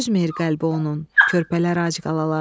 Dözmür qəlbi onun, körpələr ac qalar.